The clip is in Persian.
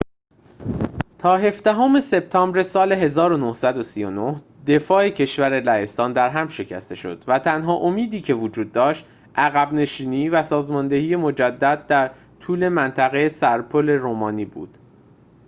تا هفدهم سپتامبر سال ۱۹۳۹ دفاع کشور لهستان درهم شکسته شد و تنها امیدی که وجود داشت عقب نشینی و سازماندهی مجدد در طول منطقه سرپل رومانی بود